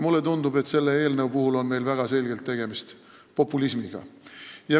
Mulle tundub, et selle eelnõu puhul on meil väga selgelt tegemist populismiga.